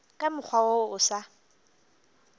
ka mokgwa wo o sa